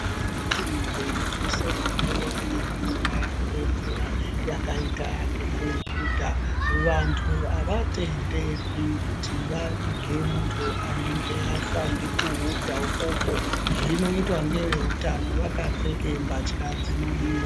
Mitungu inonese munguwa yekunaya kwemvura yakaita ngekuhudha vantu avatenderwi kuti vavige muntu anenge afa ngekuhudha ukoko, zvinoitwa ngeveutano vakapfeke mbatya dzinodiwa.